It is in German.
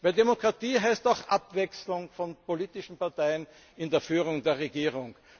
Denn Demokratie heißt auch Abwechslung von politischen Parteien in der Führung der Regierung.